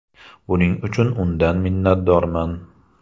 Buning uchun undan minnatdorman.